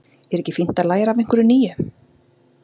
Er ekki fínt að læra af einhverju nýju?